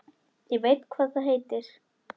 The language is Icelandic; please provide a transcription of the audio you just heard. Ég veit hvað það heitir